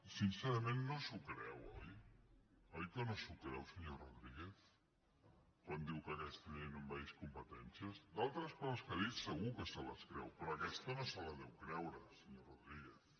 sincerament no s’ho creu oi oi que no s’ho creu senyor rodríguez quan diu que aquesta llei no envaeix competències d’altres coses que ha dit segur que se les creu però aquesta no se la deu creure senyor rodríguez